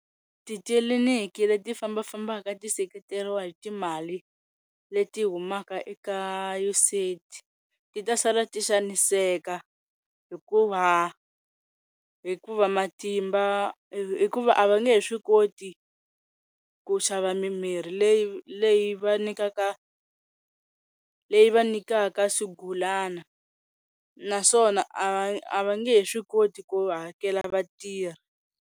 Titliniki le ti fambafambaka ti seketeriwa hi timali leti humaka eka U_S A_ID ti ta sala ti xaniseka hikuva hikuva matimba hikuva a va nge he swi koti ku xava mimirhi leyi leyi va nyikaka leyi va nyikaka swigulana naswona a va nge he swi koti ku hakela vatirhi.